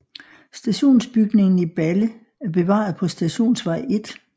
Stationsbygningen i Balle er bevaret på Stationsvej 1